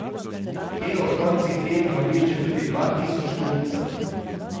Te ob koncih tednov obišče tudi dva tisoč kupcev.